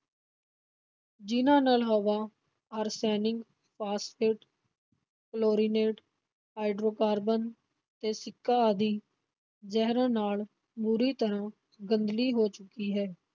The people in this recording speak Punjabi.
ਜਿਨ੍ਹਾਂ ਨਾਲ ਹਵਾ ਆਰਸੈਨਿਕ, ਫਾਸਫੇਟ ਕਲੋਰੀਨੇਟ ਹਾਈਡਰੋਕਾਰਬਨ ਤੇ ਸਿੱਕਾ ਆਦਿ ਜ਼ਹਿਰਾਂ ਨਾਲ ਬੁਰੀ ਤਰ੍ਹਾਂ ਗੰਧਲੀ ਹੋ ਚੁੱਕੀ ਹੈ।